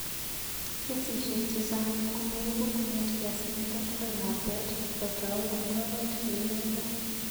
Kesishek chechang' ko mo kiipu kong'etke sigindet akoi lakwet ako tou eng' oret ne inegee.